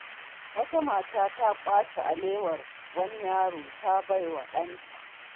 Wata mata ta ƙwace alewar wani yaro, ta bawa ɗanta.